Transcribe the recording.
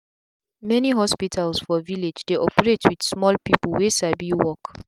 many hospitals for village dey operate with small people wey sabi work.